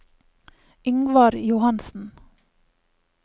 Yngvar Johansen